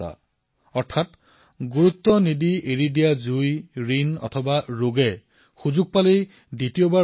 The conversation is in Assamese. অৰ্থাৎ লঘূ জ্ঞান কৰা অগ্নি ঋণ আৰু ৰোগ সুযোগ পালেই বিপদজনক হৈ উঠিব পাৰে